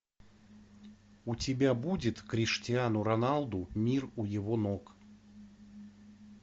у тебя будет криштиану роналду мир у его ног